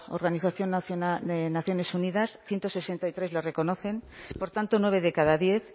organización de naciones unidas ciento sesenta y tres le reconocen por tanto nueve de cada diez